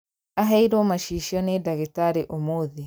Aheirwo macicio nĩ ndagĩtarĩ ũmũthĩ